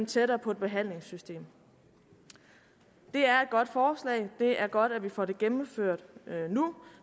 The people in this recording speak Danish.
tættere på et behandlingssystem det er et godt forslag det er godt at vi får det gennemført nu